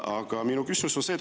Aga minu küsimus on see.